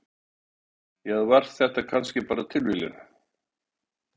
Eða var þetta kannski bara tilviljun?